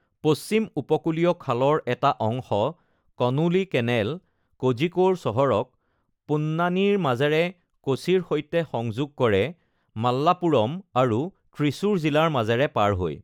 পশ্চিম-উপকূলীয় খালৰ এটা অংশ, কনোলি কেনেল কোজিকোড় চহৰক পোন্নানিৰ মাজেৰে কোচিৰ সৈতে সংযোগ কৰে, মালাপ্পুৰম আৰু ত্ৰিচুৰ জিলাৰ মাজেৰে পাৰ হৈ।